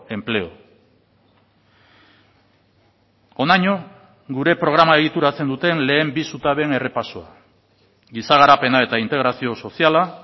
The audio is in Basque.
empleo honaino gure programa egituratzen duten lehen bi zutabeen errepasoa giza garapena eta integrazio soziala